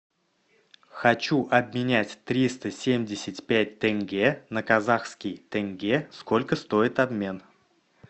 хочу обменять триста семьдесят пять тенге на казахские тенге сколько стоит обмен